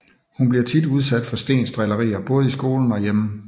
Hun bliver tit udsat for Steens drillerier både i skolen og hjemme